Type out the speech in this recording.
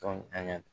Dɔn an ga